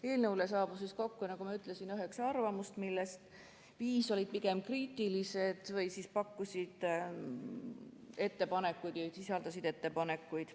Eelnõu kohta saabus kokku, nagu ma ütlesin, üheksa arvamust, millest viis olid pigem kriitilised või siis sisaldasid ettepanekuid.